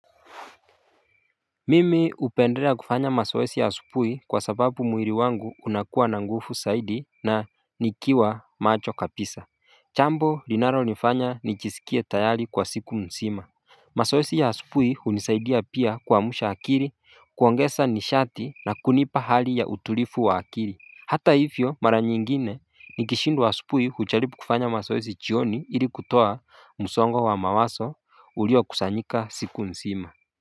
Mimi upendela kufanya masawesi ya supui kwa sababu muiri wangu unakuwa na ngufu saidi na nikiwa macho kapisa Chambo linaronifanya nichisikie tayali kwa siku msima Masawesi ya supui unisaidia pia kuwamusha akiri kuwangesa nishati na kunipa hali ya utulifu wa akiri Hata hivyo mara nyingine nikishindu wa supui huchalipu kufanya masawesi chioni ili kutoa musongo wa mawaso ulio kusanyika siku msima.